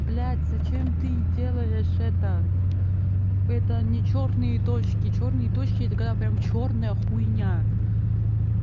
блядь зачем ты делаешь это это не чёрные точки чёрные точки такая прям чёрная хуйня